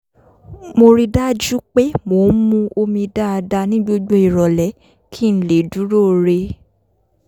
mo rí i dájú pé mo ń mu omi dáadáa ní gbogbo ìrọ̀lẹ́ kí n lè dúróo re